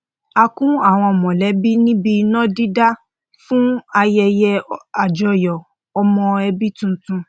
a kún àwọn mọlẹbí níbi iná dídá fún ayẹyẹ àjọyọ ọmọ ẹbí tuntun